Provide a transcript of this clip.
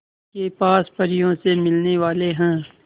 के पास परियों से मिलने वाले हैं